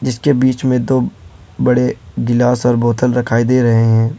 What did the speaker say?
इसके बीच में दो बड़े गिलास और बोतल दिखाई दे रहे हैं।